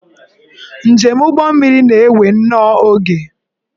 Njem ụgbọmmiri na-ewe nnọọ oge